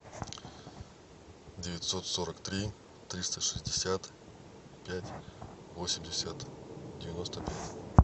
девятьсот сорок три триста шестьдесят пять восемьдесят девяносто пять